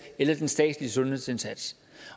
eller den statslige sundhedsindsats